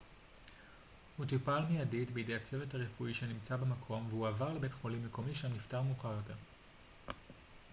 הוא טופל מיידית בידי הצוות הרפואי שנמצא במקום והועבר לבית חולים מקומי שם נפטר מאוחר יותר